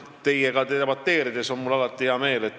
Teiega debateerides on mul alati hea meel.